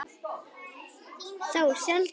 Þá sjaldan við